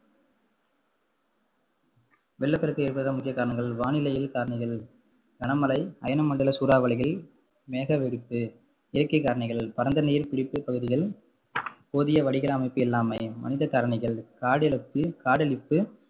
வெள்ளப்பெருக்கு ஏற்பட முக்கிய காரணங்கள் வானிலையில் காரணிகள் கனமழை, அயனமண்டல சூறாவளிகள், மேகவெடிப்பு இயற்கை காரணிகள் பரந்த நீர் பிடிப்பு பகுதிகள் போதிய வடிகால் அமைப்பு இல்லாமை மனித காரணிகள் காடழிப்பு காடழிப்பு,